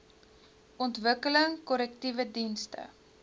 ontwikkeling korrektiewe dienste